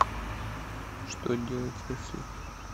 что делать если